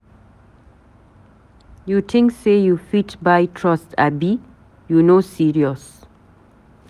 You tink sey you fit buy my trust abi? you no serious.